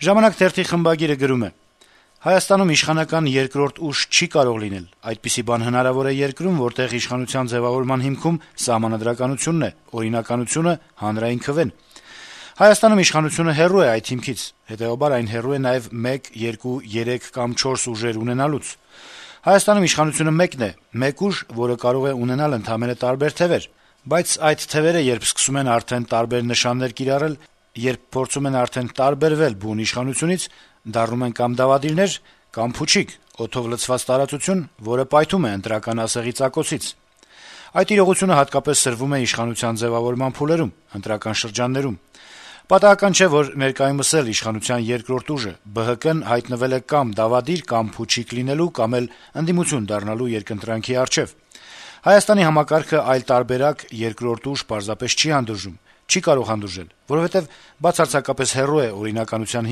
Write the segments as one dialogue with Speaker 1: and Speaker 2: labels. Speaker 1: «Ժամանակ» թերթի խմբագիրը գրում է. - «Հայաստանում իշխանական երկրորդ ուժ չի կարող լինել: Այդպիսի բան հնարավոր է այնպիսի երկրում, որտեղ իշխանության ձեւավորման հիմքում սահմանադրականությունն է, օրինականությունը, հանրային քվեն: Հայաստանում իշխանությունը հեռու է այդ հիմքից, հետեւաբար այն հեռու է նաեւ մեկ, երկու, երեք կամ չորս ուժեր ունենալուց: Հայաստանում իշխանությունը մեկն է, մեկ ուժ, որը կարող է ունենալ ընդամենը տարբեր թեւեր: Բայց այդ թեւերը երբ սկսում են արդեն տարբեր նշաններ կիրառել, երբ փորձում են արդեն տարբերվել բուն իշխանությունից, դառնում են կամ դավադիրներ, կամ փուչիկ՝ օդով լցված տարածություն, որը պայթում է ընտրական ասեղի ծակոցից: Այդ իրողությունը հատկապես սրվում է իշխանության ձեւավորման փուլերում՝ ընտրական շրջաններում: Պատահական չէ, որ ներկայումս էլ իշխանության երկրորդ ուժը՝ ԲՀԿ-ն, հայտնվել է կամ դավադիր, կամ փուչիկ լինելու, կամ էլ ընդդիմություն դառնալու երկընտրանքի առաջ: Հայաստանի համակարգը այլ տարբերակ, երկրորդ ուժ պարզապես չի հանդուրժում, չի կարող հանդուրժել, որովհետեւ բացարձակապես հեռու է օրինականության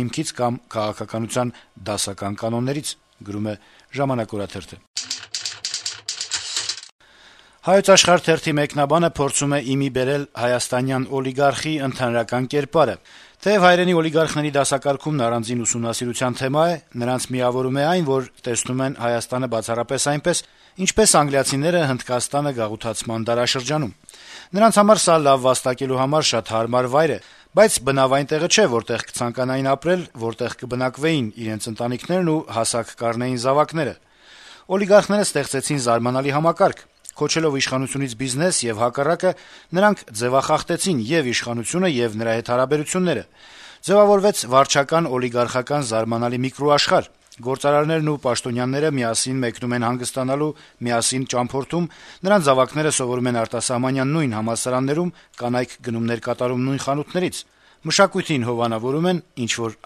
Speaker 1: հիմքից կամ քաղաքականության դասական կանոններից»: «Հայոց Աշխարհ» թերթի մեկնաբանը փորձում է ի մի բերել հայաստանյան օլիգարխի ընդհանրական կերպարը. - «Թեեւ հայրենի օլիգարխների դասակարգումն առանձին ուսումնասիրության թեմա է, նրանց միավորում է այն, որ տեսնում են Հայաստանը բացառապես այնպես, ինչպես անգլիացիները Հնդկաստանը գաղութացման դարաշրջանում։ Նրանց համար սա լավ վաստակելու համար շատ հարմար վայր է, բայց բնավ այն տեղը չէ, որտեղ կցանկանային ապրել, որտեղ կբնակվեին իրենց ընտանիքներն ու հասակ կառնեին զավակները։ Օլիգարխները ստեղծեցին զարմանալի համակարգ։ Քոչելով իշխանությունից բիզնես եւ հակառակը, նրանք ձեւախախտեցին ե՛ւ իշխանությունը, ե՛ւ նրա հետ հարաբերությունները։ Ձեւավորվեց վարչական-օլիգարխական զարմանալի միկրոաշխարհ։ Գործարարներն ու պաշտոնյաները միասին մեկնում են հանգստանալու, միասին ճամփորդում, նրանց զավակները սովորում են արտասահմանյան նույն համալսարաններում, կանայք՝ գնումներ կատարում նույն խանութներից։ Մշակույթին հովանավորում են, ինչ-որ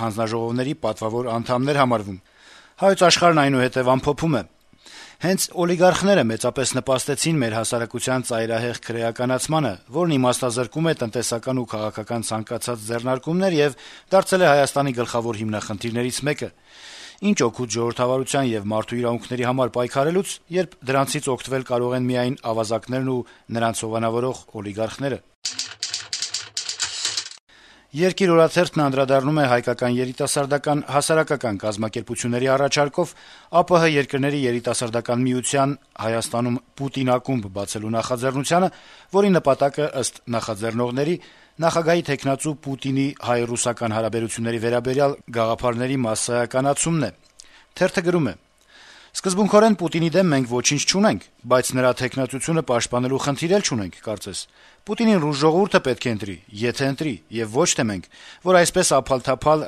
Speaker 1: հանձնաժողովների պատվավոր անդամներ համարվում»։ Թերթն ամփոփում է. - «Հենց օլիգարխները մեծապես նպաստեցին մեր հասարակության ծայրահեղ քրեականացմանը, որն իմաստազրկում է տնտեսական ու քաղաքական ցանկացած ձեռնարկումներ եւ դարձել է Հայաստանի գլխավոր հիմնախնդիրներից մեկը։ Ինչ օգուտ ժողովրդավարության եւ մարդու իրավունքների համար պայքարելուց, երբ դրանցից օգտվել կարող են միայն ավազակներն ու նրանց հովանավորող օլիգարխները»։ «Երկիր» օրաթերթն անդրադառնում է հայկական երիտասարդական հասարակական կազմակեպությունների առաջարկով ԱՊՀ երկրների երիտասարդական միության` Հայաստանում «Պուտին» ակումբ բացելու նախաձեռնությանը, որի նպատակը, ըստ նախաձեռնողների, Ռուսաստանի նախագահի թեկնածու Վլադիմիր Պուտինի` հայ-ռուսական հարաբերությունների վերաբերյալ գաղափարների մասսայականացումն է: Թեթրը գրում է. - «Սկզբունքորեն Պուտինի դեմ մենք ոչինչ չունենք, բայց նրա թեկնածությունը պաշտպանելու խնդիր էլ չունենք, կարծես: Պուտինին ռուս ժողովուրդը պետք է ընտրի, եթե ընտրի, այլ ոչ թե մենք, որ այսպես ափալ-թափալ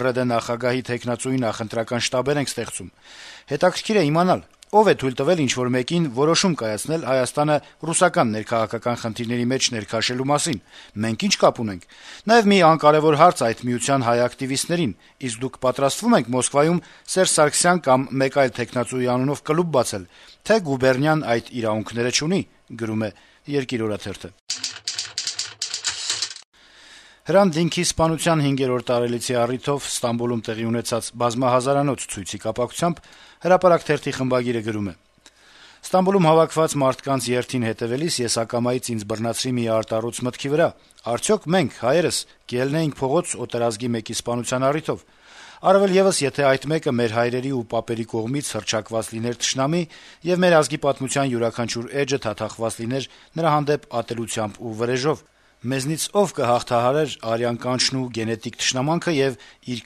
Speaker 1: ՌԴ նախագահի թեկնածուի նախընտրական շտաբներ ենք ստեղծում: Հետաքրքիր է` ո՞վ է թույլ տվել ինչ-որ մեկին որոշում կայացնել Հայաստանը ռուսական ներքաղաքական խնդիրների մեջ ներքաշելու մասին: Մենք ի՞նչ կապ ունենք: Նաեւ մի անկարեւոր հարց այդ միության հայ ակտիվիստներին` իսկ դուք պատրաստվո՞ւմ եք Մոսկվայում «Սերժ Սարգսյան» կամ մեկ այլ թեկնածուի անունով կլուբ բացել, թե՞ «գուբերնիան» այդ իրավունքները չունի»: Հրանտ Դինքի սպանության հինգերորդ տարելիցի առիթով Ստամբուլում տեղի ունեցած բազմահազանոց ցույցի կապակցությամբ «Հրապարակ» թերթի խմբագիրը գրում է. - «Ստամբուլում հավաքված մարդկանց երթին հետեւելիս ես ակամայից ինձ բռնացրի մի արտառոց մտքի վրա՝ արդյո՞ք մենք՝ հայերս, կելնեինք փողոց օտարազգի մեկի սպանության առիթով: Առավել եւս, եթե այդ մեկը մեր հայրերի ու պապերի կողմից հռչակված լիներ թշնամի, եւ մեր ազգի պատմության յուրաքանչյուրը էջը թաթախված լիներ նրա հանդեպ ատելությամբ ու վրեժով: Մեզնից ո՞վ կհաղթահարեր արյան կանչն ու գենետիկ թշնամանքը եւ իր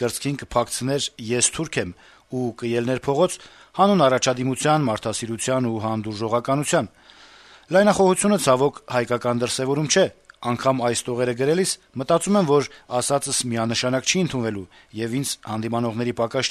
Speaker 1: կրծքին կփակցներ՝ «ես թուրք եմ», ու կելներ փողոց՝ հանուն առաջադիմության, մարդասիրության ու հանդուրժողականության: Լայնախոհությունը, ցավոք, հայկական դրսեւորում չէ: Անգամ այս տողերը գրելիս մտածում եմ, որ ասածս միանշանակ չի ընդունվելու, եւ ինձ հանդիմանողների պակաս